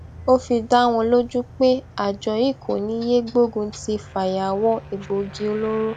ó fi dá wọn lójú pé àjọ yìí kò ní í yéé gbógun ti fàyàwọ egbòogi olóró